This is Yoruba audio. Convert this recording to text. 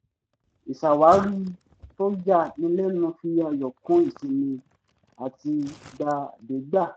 ìṣàwárí tó ya ni lẹ́nu fi ayọ̀ kún ìsinmi àtìgbàdégbà